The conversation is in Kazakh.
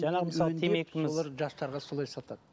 жаңағы мысалы сол темекіміз жастарға солай сатады